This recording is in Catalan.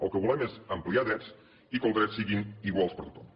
el que volem és ampliar drets i que els drets siguin iguals per a tothom